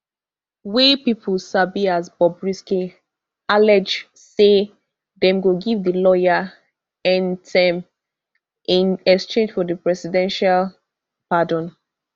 wey pipo sabi as bobrisky allege say dem go give di lawyer n ten m in exchange for presidential pardon